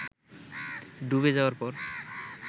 ডুবে যাওয়ার পর